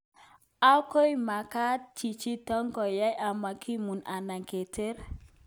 "Ako makaat chichitok kohai amakimuu anan keteer."